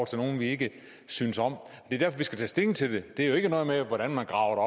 til nogle vi ikke synes om det er derfor vi skal tage stilling til det det har ikke noget at gøre med hvordan man graver